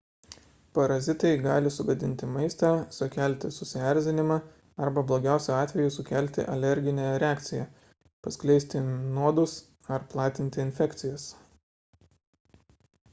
parazitai gali sugadinti maistą sukelti susierzinimą arba blogiausiu atveju sukelti alerginę reakciją paskleisti nuodus ar platinti infekcijas